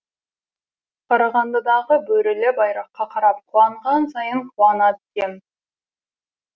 қарағандыдағы бөрілі байраққа қарап қуанған сайын қуана түсем